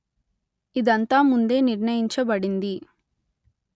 ఇదంతా ముందే నిర్ణయించబడింది